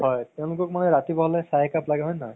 হয় তেওলোকক ৰাতিপুৱা হ'লে চাহ একাপ লাগে হয় নে নহয়